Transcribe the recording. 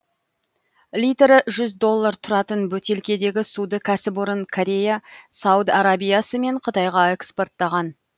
литрі жүз доллар тұратын бөтелкедегі суды кәсіпорын корея сауд арабиясы мен қытайға экспорттаған